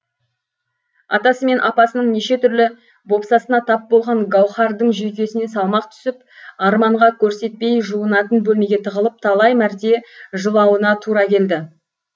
атасы мен апасының неше түрлі бопсасына тап болған гауһардың жүйкесіне салмақ түсіп арманға көрсетпей жуынатын бөлмеге тығылып талай мәрте жылауына тура келді